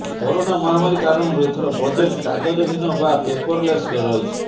corona ମହାମାରୀ କାରଣରୁ ଏଥର ବଜେଟ୍ କାଗଜହୀନ ବା ପେପରଲେସ୍ ରହିଛି